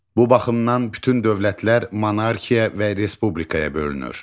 Bu baxımdan bütün dövlətlər monarxiya və respublikaya bölünür.